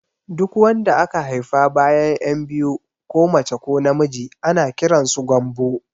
Duk wanda aka haifa bayan ƴan biyu ko mace ko na miji ana kiransu Gambo